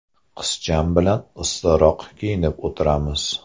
Qizcham bilan issiqroq kiyinib o‘tiramiz.